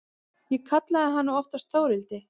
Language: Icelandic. Ég kallaði hana oftast Þórhildi.